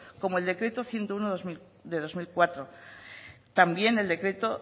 como el decreto ciento uno del dos mil cuatro también el decreto